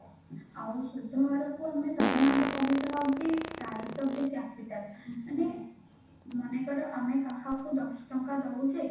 ଆଉ ସୁଧହାର କୁ ଆମେ ସାଧାରଣତଃ କହିଥାଉ କି types of the capital ମାନେ ମନେକର ଆମେ କାହାକୁ ଦଶ ଟଙ୍କା ଦଉଛେ